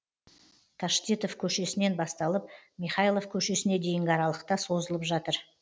таштитов көшесінен басталып михайлов көшесіне дейінгі аралықта созылып жатыр